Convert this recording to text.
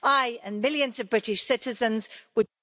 I and millions of British citizens would...